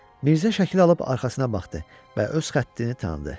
Mirzə şəkili alıb arxasına baxdı və öz xəttini tanıdı.